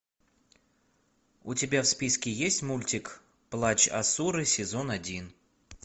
у тебя в списке есть мультик плач асуры сезон один